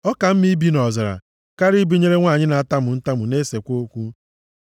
Ọ ka mma ibi nʼọzara karịa ibinyere nwanyị na-atamu ntamu na-esekwa okwu.